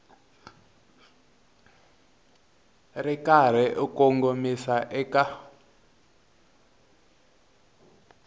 ri karhi u kongomisa eka